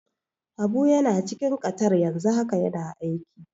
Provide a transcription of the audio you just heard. Habu yana cikin Qatar yanzu haka yana aiki.